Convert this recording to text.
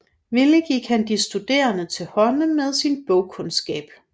Villig gik han de studerende til hånde med sin bogkundskab